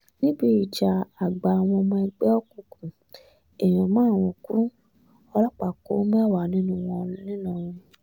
níbi ìjà àgbà àwọn ọmọ ẹgbẹ́ òkùnkùn èèyàn márùn-ún kú ọlọ́pàá kó mẹ́wàá nínú wọn ńìlọrin